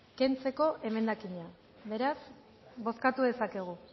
kentzeko emendakina beraz bozkatu dezakegu